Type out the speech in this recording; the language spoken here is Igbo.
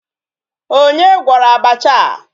Onye gwọrọ abacha a?